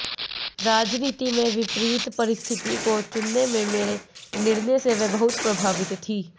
राजनीति में विपरीत परिस्थिति को चुनने के मेरे निर्णय से वे बहुत प्रभावित थीं